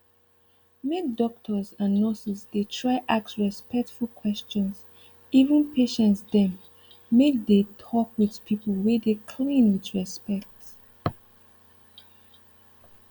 make doctors and nurses dey try ask respectful questions even patience dem make dey talk with pipu wey dey cleaan with respect